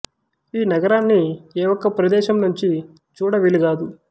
ఈ నగరాన్ని ఏ ఒక్క ప్రదేశం నుండి చూడ వీలు గాదు